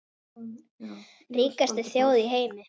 Ríkasta þjóð í heimi.